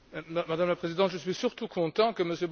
Madame la Présidente, je suis surtout content que M.